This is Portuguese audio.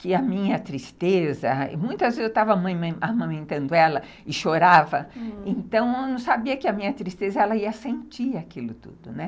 que a minha tristeza, muitas vezes eu estava amamentando ela e chorava, então eu não sabia que a minha tristeza, ela ia sentir aquilo tudo, né.